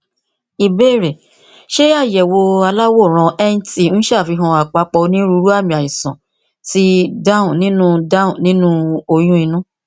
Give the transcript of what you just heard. ìbéèrè ṣé àyẹwò aláwòrán nt ń ṣàfihàn àpapọ onírúurú àmì àìsàn ti down nínú [c] down nínú oyún inú